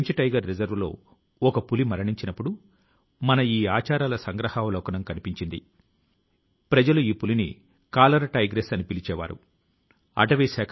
ఈ కోర్సు ఇప్పుడే ప్రారంభించినప్పటికీ ఇందులో బోధించే అంశాల రూపకల్పన 100 సంవత్సరాల క్రితం ప్రారంభించినట్టు తెలిస్తే మీరు ఆశ్చర్యపోతారు